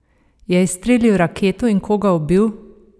Je izstrelil raketo in koga ubil?